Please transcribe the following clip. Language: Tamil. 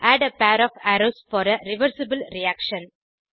add a pair of arrows for a reversible reaction